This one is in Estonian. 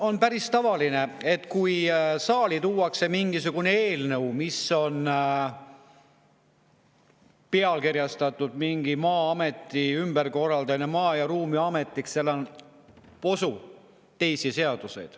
On päris tavaline, et kui saali tuuakse mingisugune eelnõu, mis on pealkirjastatud nagu näiteks Maa-ameti ümberkorraldamine Maa‑ ja Ruumiametiks, siis seal on ka posu teisi seadusi.